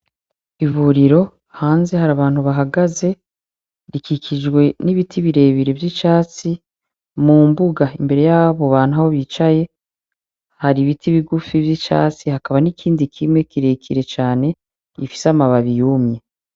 Ivuriro, hanze hari abantu bahagaze, rikikijwe n’ibiti birebire vyicatsi, mu mbuga imbere yaho aho bantu aho bicaye, hari ibiti bigufi vyicatsi hakaba nikindi kimwe kirekire cane gifise amababi yumye.